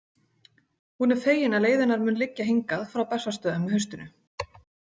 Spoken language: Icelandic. Hún er fegin að leið hennar mun liggja hingað frá Bessastöðum með haustinu.